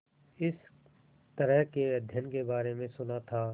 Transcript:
इस तरह के अध्ययन के बारे में सुना था